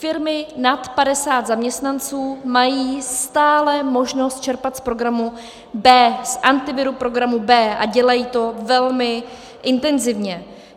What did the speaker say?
Firmy nad 50 zaměstnanců mají stále možnost čerpat z programu B, z Antiviru programu B, a dělají to velmi intenzivně.